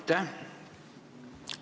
Aitäh!